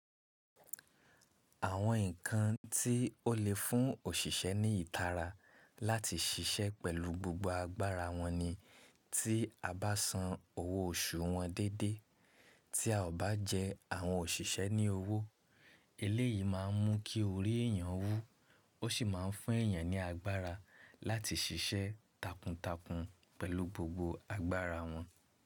Àwọn nǹkan tí ó lè fún òṣìṣẹ́ ní ìtara láti ṣiṣẹ́ pẹ̀lú gbogbo agbára wọn ni tí a bá san owó oṣù wọn déédéé, tí a ò bá jẹ àwọn òṣìṣẹ́ ní owó eléyìí má a ń mú kí orí èyàn wú ó sì má ń fún èèyàn ní agbára láti ṣiṣẹ́ takuntakun pẹ̀lú gbogbo agbára wọn.